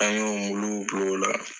An y'o muluw bil'ola